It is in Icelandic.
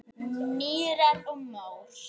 Mýrar og mór